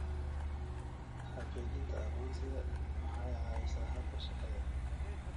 Xaqiijinta aqoonsiga waxay caawisaa habka shaqada.